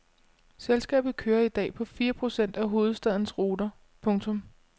Selskabet kører i dag på fire procent af hovedstadens ruter. punktum